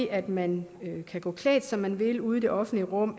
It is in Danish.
at man kan gå klædt som man vil ude i det offentlige rum